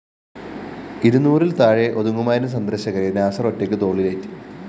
ഇരുന്നൂറില്‍ താഴെ ഒതുങ്ങുമായിരുന്ന സന്ദര്‍ശകരെ നാസര്‍ ഒറ്റയ്ക്ക് തോളിലേറ്റി